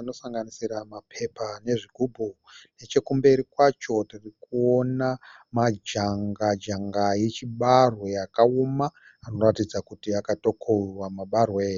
anosanganisira mapepa nezvigubhu. Nechekumberi kwacho ndiri kuona majanga janga echibarwe akaoma anoratidza kuti akatokohwiwa mabarwe.